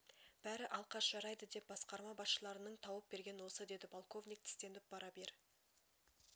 бәрі алқаш жарайды деп басқарма басшыларының тауып берген осы деді полковник тістеніп бара бер